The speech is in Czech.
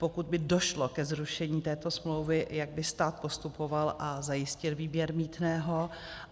Pokud by došlo ke zrušení této smlouvy, jak by stát postupoval a zajistil výběr mýtného?